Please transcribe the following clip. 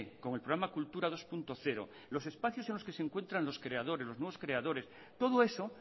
como el programa kultura dos punto cero los espacios en los que se encuentran los creadores los nuevos creadores todo eso